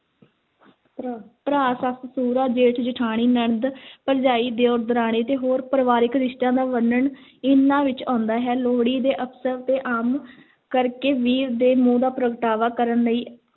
ਭਰਾ, ਭਰਾ, ਸੱਸ-ਸਹੁਰਾ, ਜੇਠ-ਜਠਾਣੀ, ਨਣਦ ਭਰਜਾਈ, ਦਿਓਰ, ਦਰਾਣੀ ਅਤੇ ਹੋਰ ਪਰਿਵਾਰਿਕ ਰਿਸ਼ਤਿਆਂ ਦਾ ਵਰਨਣ ਇਹਨਾਂ ਵਿੱਚ ਆਉਂਦਾ ਹੈ, ਲੋਹੜੀ ਦੇ ਅਵਸਰ 'ਤੇ ਆਮ ਕਰ ਕੇ ਵੀਰ ਦੇ ਮੋਹ ਦਾ ਪ੍ਰਗਟਾਵਾ ਕਰਨ ਲਈ